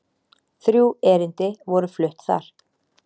Þrjú erindi voru flutt þar